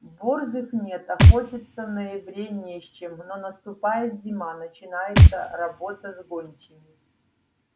борзых нет охотиться в ноябре не с чем но наступает зима начинается работа с гончими